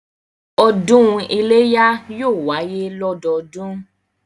Ọdún iléyá yóò wáyé lọ́dọọdún